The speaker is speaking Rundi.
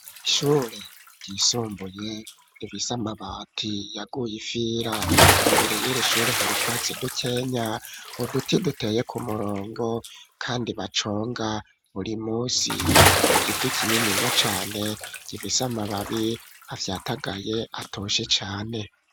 Ishuri ryisumbuye rifise amabati yaguye ifira imbere y'irishure harutwatsi dukenya huduti duteye ku murongo .Kandi baconga buri munsi igiti kinini nya cane gifise amababi afyatagaye atoshe cane.